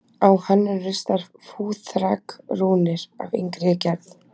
Á hann eru ristar fúþark-rúnir af yngri gerð.